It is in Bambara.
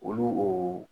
Olu oo